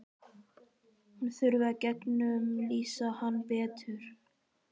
Hún þurfi að gegnumlýsa hann betur.